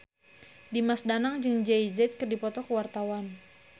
Dimas Danang jeung Jay Z keur dipoto ku wartawan